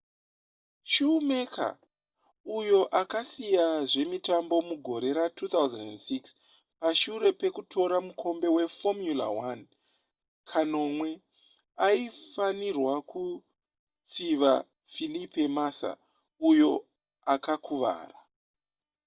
schumacher uyo akasiya zvemitambo mugore ra2006 pashure pekutora mukombe weformula 1 kanomwe aifanirwa kutsiva felipe massa uyo akakuvara